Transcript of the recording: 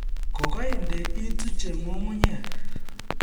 Kokainde ituche nyung'unyek